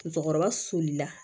Musokɔrɔba solila